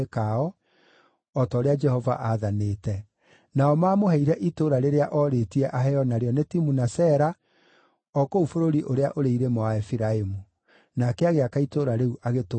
o ta ũrĩa Jehova aathanĩte. Nao maamũheire itũũra rĩrĩa oorĩtie aheo narĩo nĩ Timuna-Sera o kũu bũrũri ũrĩa ũrĩ irĩma wa Efiraimu. Nake agĩaka itũũra rĩu agĩtũũra kuo.